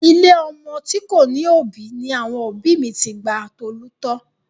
Ilé ọmọ tí kò ní òbí ni àwọn òbí mi ti gba Tolú tọ́.